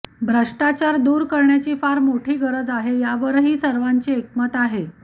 भ्रष्टाचार दूर करण्याची फार मोठी गरज आहे यावरही सर्वांचे एकमत आहे